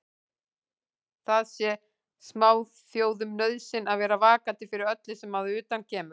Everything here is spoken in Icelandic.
Það sé smáþjóðum nauðsyn að vera vakandi fyrir öllu sem að utan kemur.